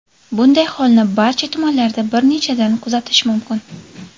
Bunday holni barcha tumanlarda bir nechtadan kuzatish mumkin.